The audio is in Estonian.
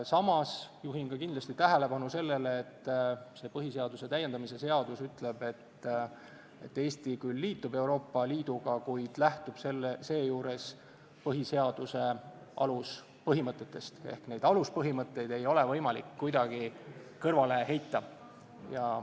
Samas juhin kindlasti tähelepanu sellele, et põhiseaduse täiendamise seadus ütleb, et Eesti küll liitub Euroopa Liiduga, kuid lähtub seejuures põhiseaduse aluspõhimõtetest ja neid aluspõhimõtteid ei ole võimalik kuidagi kõrvale heita.